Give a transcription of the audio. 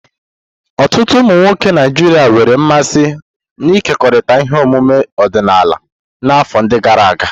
Ọtụtụ ụmụ nwoke Naijiria nwere mmasị n'ịkekọrịta ihe ọmụma ọdịnala n'afọ ndi gara aga.